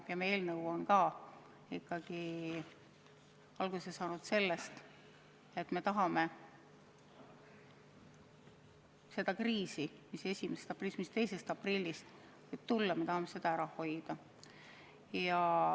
Meie eelnõu on ikkagi alguse saanud sellest, et me tahame seda kriisi, mis aprillis võib tekkida, ära hoida.